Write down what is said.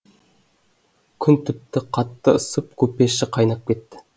күн тіпті қатты ысып купе іші қайнап кетті